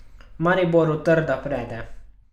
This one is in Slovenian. Mariboru trda prede.